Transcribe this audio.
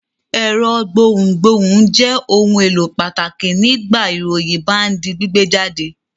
Ẹ̀rọ gbohùngbohùn jẹ́ ohun-èlò pàtàkì nígbà ìròyìn bá ń di gbígbé jáde.